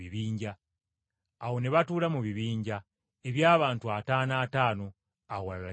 Awo ne batuula mu bibinja, eby’abantu ataano ataano, awalala kikumi kikumi.